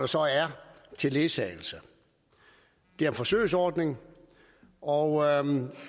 så er til ledsagelse det er en forsøgsordning og